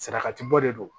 Saraka ti bɔ de don